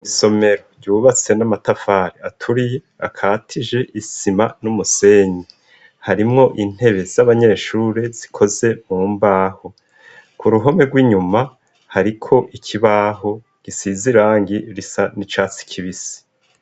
Isomero ryubatse n'amatafari aturiye akatije isima n'umusenyi harimwo intebe z'abanyeshuri zikoze mu mbaho ku ruhome rw'inyuma hariko ikibaho gisize irangi risa n'icatsi kibisi.